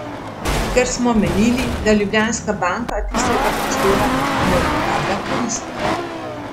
Ker smo menili, da Ljubljanska banka tistega prostora ne uporablja koristno.